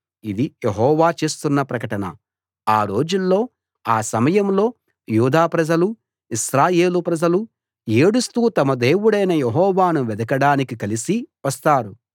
ఇది యెహోవా చేస్తున్న ప్రకటన ఆ రోజుల్లో ఆ సమయంలో యూదా ప్రజలూ ఇశ్రాయేలు ప్రజలూ ఏడుస్తూ తమ దేవుడైన యెహోవాను వెదకడానికి కలిసి వస్తారు